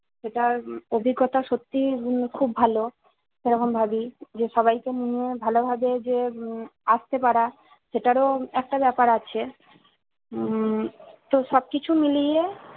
সেটার অভিজ্ঞতা সত্যিই উম খুব ভালো। এরকম ভাবি যে সবাইকে নিয়ে ভাল ভাবে যে উম আসতে পারা সেটারও একটা ব্যাপার আছে। উম তো সবকিছু মিলিয়ে